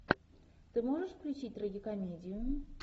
ты можешь включить трагикомедию